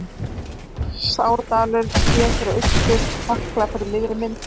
Þjórsárdalur séð til austurs, Hekla fyrir miðri mynd.